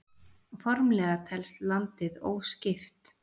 Formlega telst landið óskipt.